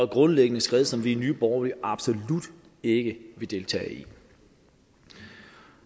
grundlæggende skred som vi i nye borgerlige absolut ikke vil deltage i